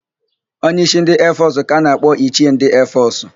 Onye ísí ndị eefọsụ ka a na-akpọ ichie ndị eefọsụ.